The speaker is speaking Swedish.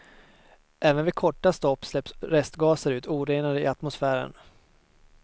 Även vid korta stopp släpps restgaser ut orenade i atmosfären.